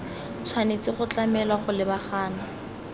tshwanetse go tlamelwa go lebagana